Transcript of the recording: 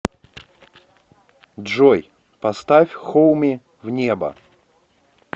джой поставь хоуми в небо